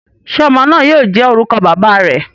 Ṣe ọmọ naa yoo jẹ orukọ baba rẹ?